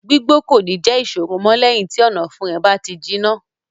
Gbígbó kò ní jẹ́ ìṣòro mọ́ lẹ́yìn tí ọ̀nàfun rẹ̀ bá ti jiná.